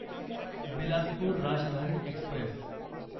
Bilaspur Rajdhani Express